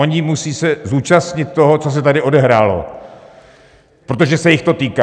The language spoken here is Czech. Oni musí se zúčastnit toho, co se tady odehrálo, protože se jich to týká.